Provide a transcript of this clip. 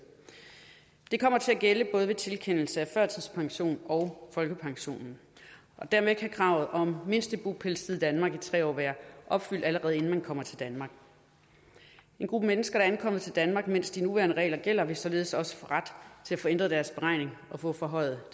det kommer til at gælde både ved tilkendelse af førtidspension og folkepension og dermed kan kravet om mindste bopælstid i danmark på tre år være opfyldt allerede inden man kommer til danmark en gruppe mennesker der ankommer til danmark mens de nuværende regler gælder vil således også få ret til at få ændret deres beregning og få forhøjet